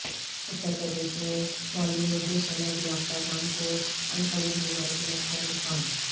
اترپردیش میں معلم اردو سند یافتگان کو عنقریب ملازمت کا امکان